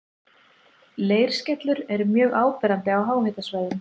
Leirskellur eru mjög áberandi á háhitasvæðum.